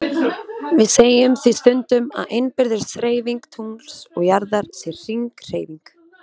Við segjum því stundum að innbyrðis hreyfing tungls og jarðar sé hringhreyfing.